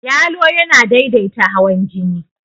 Yalo yana daidaita hawan jini.